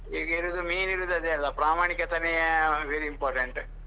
ಈಗ ಇರುದು main ಇರುದ್ ಅದೇ ಅಲಾ? ಪ್ರಾಮಾಣಿಕತೆನೆ very important .